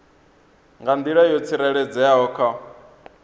nga nḓila yo tsireledzeaho kha